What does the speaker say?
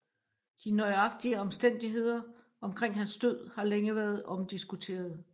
De nøjagtige omstændigheder omkring hans død har længe været omdiskuterede